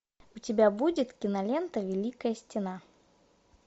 у тебя будет кинолента великая стена